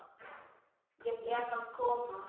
Ég er að koma